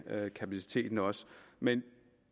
kapaciteten også men